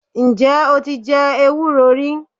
Ǹ jé o ti je ewúro rí